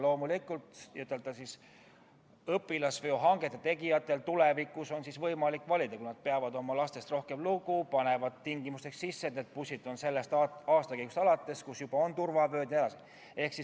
Loomulikult on õpilasveo hangete tegijatel tulevikus võimalik valida – kui nad peavad oma lastest rohkem lugu, siis panevad nad tingimuseks sisse, et bussid peavad olema sellest aastakäigust, kus turvavööd on juba olemas jne.